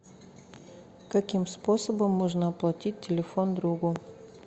каким способом можно оплатить телефон другу